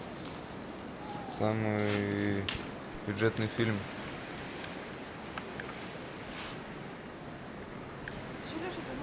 самый бюджетный фильм